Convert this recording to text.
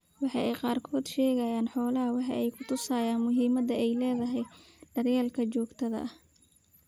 Waxa ay qaarkood ka sheegaan xoolahooda waxa ay ku tusaysaa muhiimadda ay leedahay daryeelka joogtada ah.